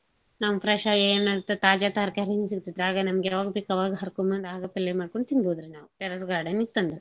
ನಾವ್ fresh ಆಗೇನ್ ಇರ್ತಾತ್ ತಾಜಾ ತರ್ಕಾರೀನೂ ಸಿಗ್ತೇತ್ ಆಗ ನಿಮ್ಗ್ಯಾವಾಗ್ಬೇಕ್ ಅವಾಗ ಹರ್ಕೊಂಬಂದ್ ಅವಾಗ ಪಲ್ಲೇ ಮಾಡ್ಕೊಂಡ್ ತಿನ್ಬೋದ್ರಿ. terrace garden ಇತ್ತಂದ್ರೆ.